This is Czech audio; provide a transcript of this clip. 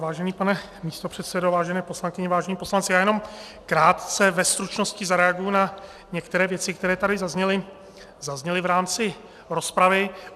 Vážený pane místopředsedo, vážené poslankyně, vážení poslanci, já jenom krátce ve stručnosti zareaguji na některé věci, které tady zazněly v rámci rozpravy.